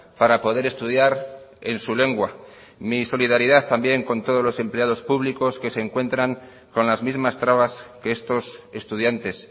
para poder estudiar en su lengua mi solidaridad también con todos los empleados públicos que se encuentran con las mismas trabas que estos estudiantes